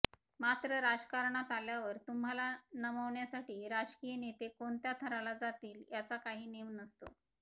मात्र राजकारणात आल्यावर तुम्हाला नमवण्यासाठी राजकीय नेते कोणत्या थराला जातील याचा काही नेम नसतो